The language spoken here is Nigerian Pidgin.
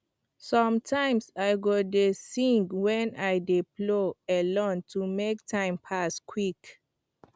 sometimes i go dey sing when i dey plow alone to make time pass quick